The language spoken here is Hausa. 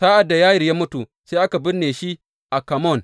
Sa’ad da Yayir ya mutu, sai aka binne shi a Kamon.